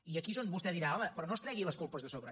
i aquí és on vostè dirà home però no es tregui les culpes de sobre